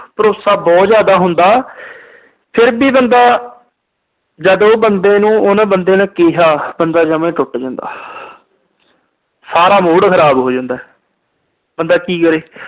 ਭਰੋਸਾ ਬਹੁਤ ਜਿਆਦਾ ਹੁੰਦਾ। ਫਿਰ ਵੀ ਬੰਦਾ ਜਦੋਂ ਉਹ ਬੰਦੇ ਨੂੰ ਉਹਨੇ ਬੰਦੇ ਨੇ ਕਿਹਾ, ਬੰਦਾ ਜਮਾ ਈ ਟੁੱਟ ਜਾਂਦਾ। ਸਾਰਾ mood ਖਰਾਬ ਹੋ ਜਾਂਦਾ। ਬੰਦਾ ਕੀ ਕਰੇ।